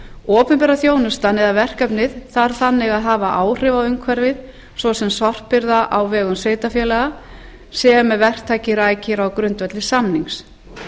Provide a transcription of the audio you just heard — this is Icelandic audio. opinbera þjónustan eða verkefnið þarf þannig að hafa áhrif á umhverfið svo sem sorphirða á vegum sveitarfélaga sem verktaki rækir á grundvelli samnings